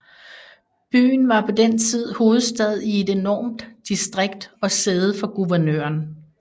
Byen var på den tid hovedstad i et enormt distrikt og sæde for guvernøren